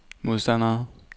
modstandere